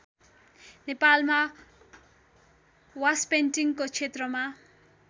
नेपालमा वासपेन्टिङको क्षेत्रमा